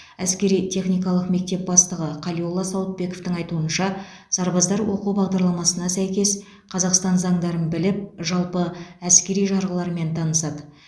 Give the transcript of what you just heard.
әскери техникалық мектеп бастығы қалиолла сауытбековтің айтуынша сарбаздар оқу бағдарламасына сәйкес қазақстан заңдарын біліп жалпы әскери жарғылармен танысады